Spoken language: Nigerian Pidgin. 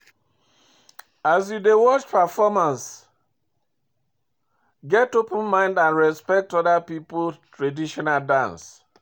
as you dey watch performance, get open mind and respect oda pipo traditional dance